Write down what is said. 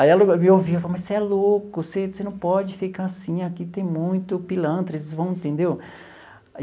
Aí ela me ouvia e falou, mas você é louco, você você não pode ficar assim aqui tem muito pilantra, eles vão, entendeu?